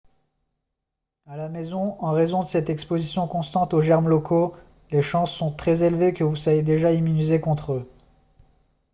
à la maison en raison de cette exposition constante aux germes locaux les chances sont très élevées que vous soyez déjà immunisé contre eux